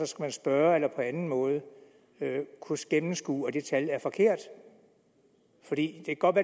skal man spørge eller på anden måde kunne gennemskue at det tal er forkert for det kan godt